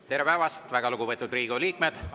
Tere päevast, väga lugupeetud Riigikogu liikmed!